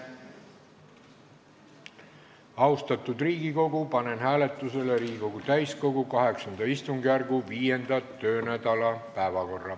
Austatud Riigikogu, panen hääletusele Riigikogu täiskogu VIII istungjärgu 5. töönädala päevakorra.